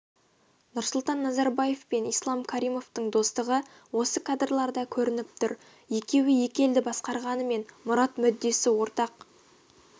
нұрсұлтан назарбаев пен ислам каримовтің достығы осы кадрларда көрініп тұр екеуі екі елді басқарғанымен мұрат-мүддесі ортақ